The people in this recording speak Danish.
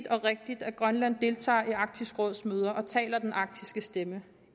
og rigtigt at grønland deltager i arktisk råds møder og taler den arktiske stemme